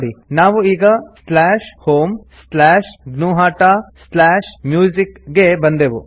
ನೋಡಿ ನಾವು ಈಗ homegnuhataMusic ಗೆ ಬಂದೆವು